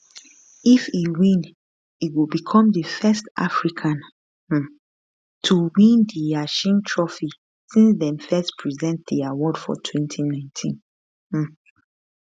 if e win e go become di first african um to win di yashin trophy since dem first present di award for 2019 um